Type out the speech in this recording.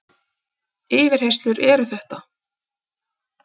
Yfirheyrslur eru þetta!